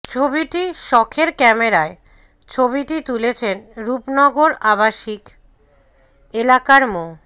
ছবিটি শখের ক্যামেরায় ছবিটি তুলেছেন রূপনগর আবাসকি এলাকার মো